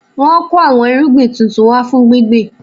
Wọn kò àwọn irúgbìn tuntun wá fún gbíngbin